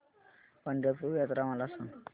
पंढरपूर यात्रा मला सांग